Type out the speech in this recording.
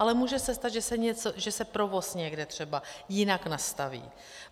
Ale může se stát, že se provoz někde třeba jinak nastaví.